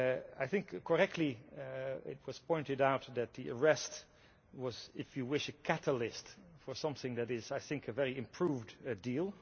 I think, correctly, it was pointed out that the arrest was, if you wish, a catalyst for something that is, I think, a very improved deal.